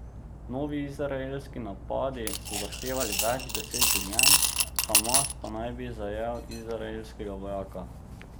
Novi izraelski napadi so zahtevali več deset življenj, Hamas pa naj bi zajel izraelskega vojaka.